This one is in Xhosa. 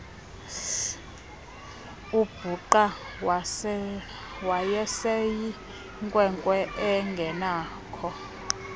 ubhuqa wayeseyinkwenkwe engenakho